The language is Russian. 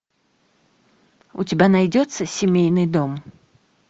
у тебя найдется семейный дом